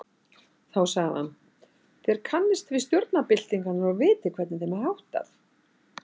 Þá sagði hann. þér kannist við stjórnarbyltingar og vitið, hvernig þeim háttar.